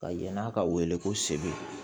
Ka yann'a ka wele ko sebe